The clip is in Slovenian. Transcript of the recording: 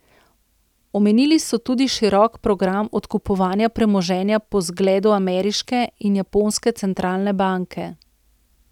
Omenili so tudi širok program odkupovanja premoženja po zgledu ameriške in japonske centralne banke.